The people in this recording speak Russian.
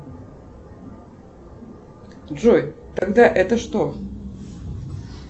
джой тогда это что